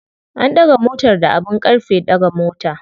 An ɗaga motar da abin ƙarfe ɗaga mota.